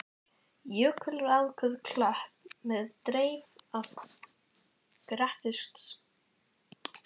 Jökulrákuð klöpp með dreif af grettistökum.